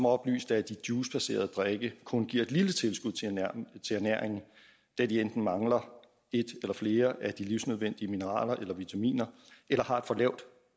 oplyste at de juicebaserede drikke kun giver et lille tilskud til ernæringen da de enten mangler et eller flere af de livsnødvendige mineraler eller vitaminer eller har et for lavt